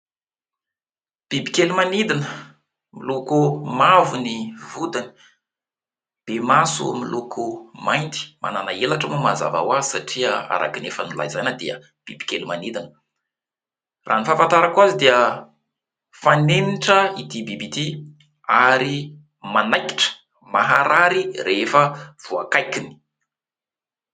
Bibikely manidina : miloko mavo ny vodiny, be maso miloko mainty, manana helatra moa mazava ho azy satria araka ny efa nolazaina dia bibikely manidina. Raha ny fahafantarako azy dia fanenitra ity biby ity ary manaikitra maharary rehefa voakaikiny.